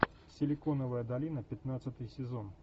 силиконовая долина пятнадцатый сезон